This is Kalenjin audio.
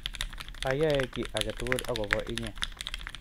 ayae kiy age tugul akobo inye